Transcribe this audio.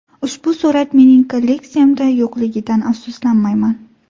Ushbu surat mening kolleksiyamda yo‘qligidan afsuslanmayman.